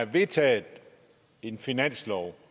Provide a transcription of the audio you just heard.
vedtaget en finanslov